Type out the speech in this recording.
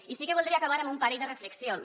i sí que voldria acabar amb un parell de reflexions